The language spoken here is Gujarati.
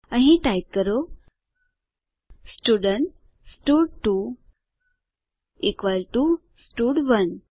અહીં ટાઈપ કરો સ્ટુડન્ટ સ્ટડ2 ઇકવલ ટુ સ્ટડ1